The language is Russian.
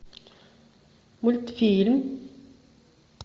мультфильм